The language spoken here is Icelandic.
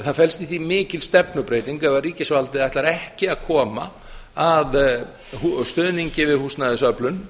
það felst í því mikil stefnubreyting ef ríkisvaldið ætlar ekki að kom að stuðningi við húsnæðisöflun